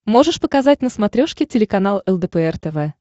можешь показать на смотрешке телеканал лдпр тв